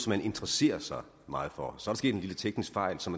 man interesserer sig meget for så er der sket en lille teknisk fejl som